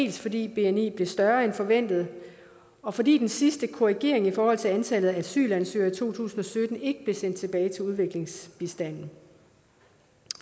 jo fordi bni blev større end forventet og fordi den sidste korrigering i forhold til antallet af asylansøgere i to tusind og sytten ikke blev sendt tilbage til udviklingsbistanden